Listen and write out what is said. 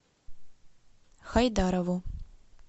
хайдарову